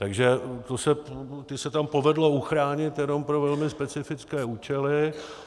Takže ty se tam povedlo uchránit jenom pro velmi specifické účely.